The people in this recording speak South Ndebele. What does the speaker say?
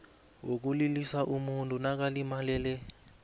wokulilisa umuntu nakalimalele